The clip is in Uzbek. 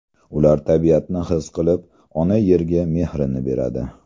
Ular tabiatni his qilib, ona Yerga mehrini beradi.